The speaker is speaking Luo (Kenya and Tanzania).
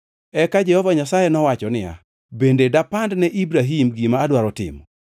Eka Jehova Nyasaye nowacho niya, “Bende dapand ne Ibrahim gima adwaro timo?